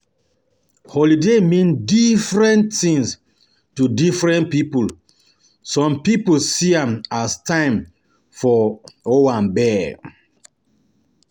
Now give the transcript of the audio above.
um Holiday mean different um things to different pipo, some pipo um see am as time for owambe